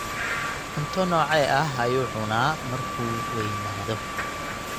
cunto noocee ah ayuu cunaa markuu weynaado.